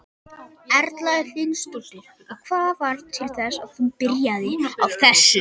Erla Hlynsdóttir: Og hvað varð til þess að þú byrjaðir á þessu?